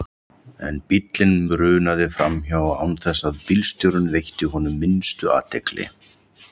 En bíllinn brunaði framhjá án þess að bílstjórinn veitti honum minnstu athygli.